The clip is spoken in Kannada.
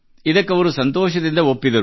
ಇದಕ್ಕೆ ಅವರು ಸಂತೋಷದಿಂದ ಒಪ್ಪಿದರು